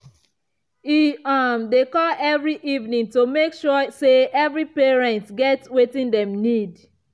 e um dey call every evening to make sure say him parents get wetin dem need.